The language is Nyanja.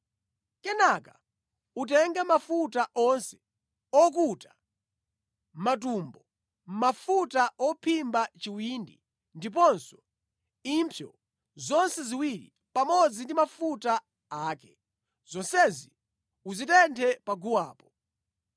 Kenaka utenge mafuta onse okuta matumbo, mafuta ophimba chiwindi ndiponso impsyo zonse ziwiri pamodzi ndi mafuta ake. Zonsezi uzitenthe pa guwapo.